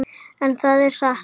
En það er satt.